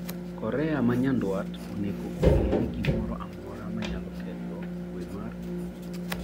Korea ma Nyanduat onego ong’e ni gimoro amora ma nyalo ketho kuwe mar